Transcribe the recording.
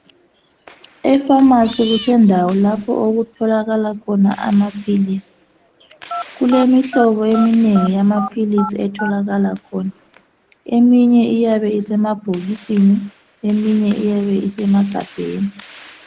Efamasi kusendaweni lapho okutholakala khona amaphilisi. Kulemihlobo eminengi yamaphilisi etholakala khona. Eminye iyabe isemabhokisini, eminye iyabe isemagabheni.